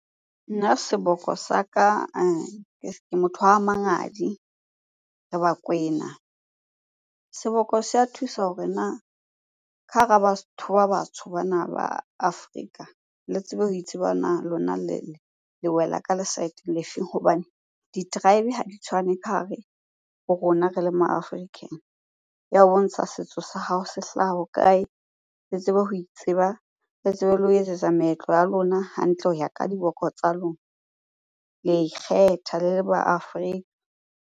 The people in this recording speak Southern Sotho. Nna seboko sa ka ke motho wa Mangadi, re bakwena. Seboko se a thusa hore na ka hara batho ba batsho bana ba Afrika, le tsebe ho itseba na lona le wela ka le saeteng le feng? Hobane di-tribe ha di tshwane ka hare ho rona re le ma African. Ya ho bontsha setso sa hao se hlaha hokae? Le tsebe ho itseba le tsebe le ho etsetsa meetlo ya lona hantle ho ya ka diboko tsa lona. Le a ikgetha le le ma .